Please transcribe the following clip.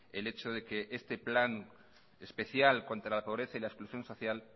el hecho de que este plan especial contra la pobreza y la exclusión social